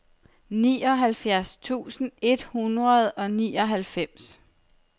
nioghalvfjerds tusind et hundrede og nioghalvfems